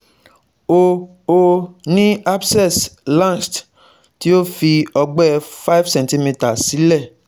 Ó Ó ní abscess lanced tí ó fi ọgbẹ́ five centi meter sílẹ̀